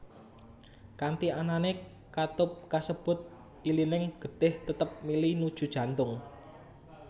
Kanthi anané katup kasebut ilining getih tetep mili nuju jantung